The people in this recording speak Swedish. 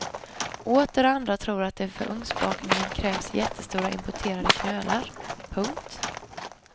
Åter andra tror att det för ugnsbakning krävs jättestora importerade knölar. punkt